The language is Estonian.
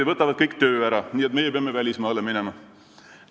ja võtavad kõik töö ära, nii et meie peame välismaale minema.